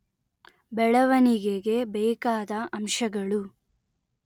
ಬೆಳವಣಿಗೆಗೆ ಬೇಕಾದ ಅಂಶಗಳು